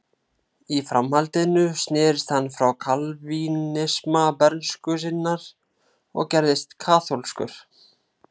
Í framhaldinu snerist hann frá kalvínisma bernsku sinnar og gerðist kaþólskur.